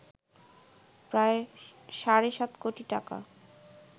প্রায় সাড়ে সাত কোটি টাকা